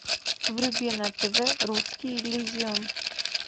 вруби на тв русский иллюзион